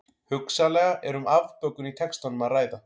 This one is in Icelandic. Hugsanlega er um afbökun í textanum að ræða.